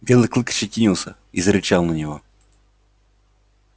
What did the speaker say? белый клык ощетинился и зарычал на него